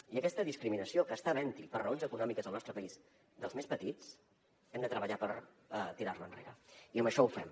i aquesta discriminació que està havent hi per raons econòmiques al nostre país dels més petits hem de treballar per tirar la enrere i amb això ho fem